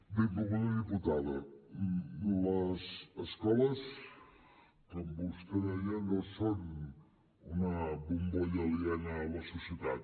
benvolguda diputada les escoles com vostè deia no són una bombolla aliena a la societat